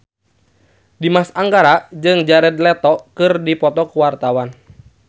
Dimas Anggara jeung Jared Leto keur dipoto ku wartawan